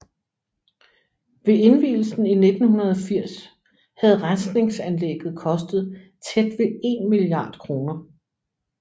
Ved indvielsen i 1980 havde rensningsanlægget kostet tæt ved 1 milliard kroner